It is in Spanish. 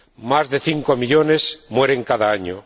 más de cinco millones mueren cada año